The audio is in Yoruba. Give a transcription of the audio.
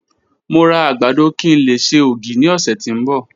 Mo ra agbado ki n le ṣe ogi ni ọsẹ ti n bọ